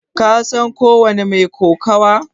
Ka san ko wani mai kokawa?